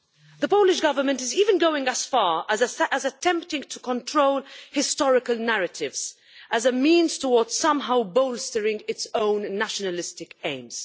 The Polish Government is even going as far as attempting to control historical narratives as a means toward somehow bolstering its own nationalistic aims.